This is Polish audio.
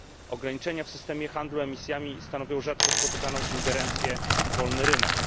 Ograniczenia w systemie handlu emisjami stanowią rzadko spotykaną ingerencję w wolny rynek.